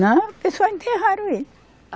Não, o pessoal enterraram ele.